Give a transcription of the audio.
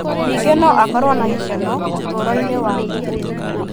Ningĩ no akorũo na gĩkeno ũtũũro-inĩ wake.